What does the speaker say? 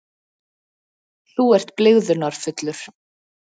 Þú ert blygðunarfullur.